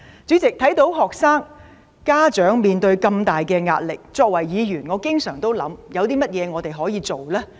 主席，看到學生和家長面對這麼大壓力，作為議員，我經常思考我們可以做些甚麼？